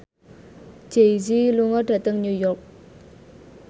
Jay Z lunga dhateng New York